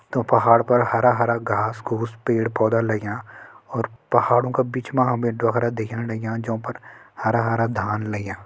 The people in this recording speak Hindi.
तों पहाड़ पर हरा हरा घास घूस पेड़ पौधा लग्यां और पहाड़ों का बिच मा हमे ढोखरा दिखेण लग्यां जों पर हरा हरा धान लग्यां।